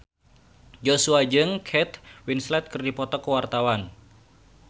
Joshua jeung Kate Winslet keur dipoto ku wartawan